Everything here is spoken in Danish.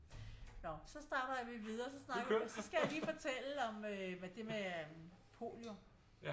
Nå så snakker vi videre så skal jeg lige fortælle om det med polio